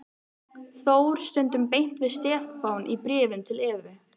Þór stundum beint við Stefán í bréfum til Evu.